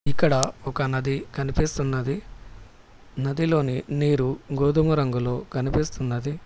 ఇక్కడ ఒక నది కనిపిస్తున్నది నదిలో నీరు గోధుమ రంగులో కనిపిస్తున్నది.